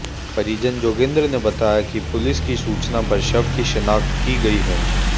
परिजन जोगेन्द्र ने बताया कि पुलिस की सूचना पर शव कि शिनाख्त की गई है